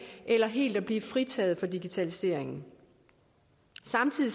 eller helt at blive fritaget for digitaliseringen samtidig